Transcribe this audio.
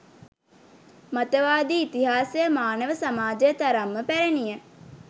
මතවාදී ඉතිහාසය මානව සමාජය තරම්ම පැරැණිය.